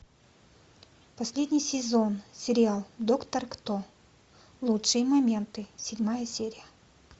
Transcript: последний сезон сериал доктор кто лучшие моменты седьмая серия